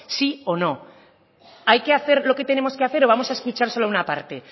sí o no hay que hacer lo que tenemos que hacer o vamos a escuchar solo una parte